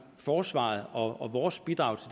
forsvaret og vores bidrag